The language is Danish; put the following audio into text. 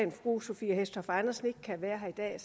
fru sophie hæstorp andersen ikke kan være her i dag